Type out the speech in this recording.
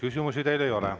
Küsimusi teile ei ole.